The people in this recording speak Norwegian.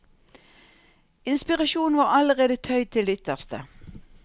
Inspirasjonen var allerede tøyd til det ytterste.